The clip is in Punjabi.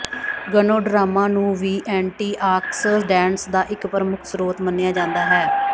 ਗਨੋਡਾਰਾਮਾ ਨੂੰ ਵੀ ਐਂਟੀਆਕਸਡੈਂਟਸ ਦਾ ਇੱਕ ਪ੍ਰਮੁੱਖ ਸਰੋਤ ਮੰਨਿਆ ਜਾਂਦਾ ਹੈ